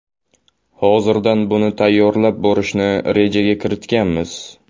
Hozirdan buni tayyorlab borishni rejaga kiritganmiz.